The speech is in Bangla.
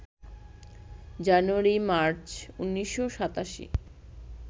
জানুয়ারি-মার্চ ১৯৮৭